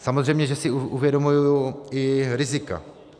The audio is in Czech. Samozřejmě, že si uvědomuji i rizika.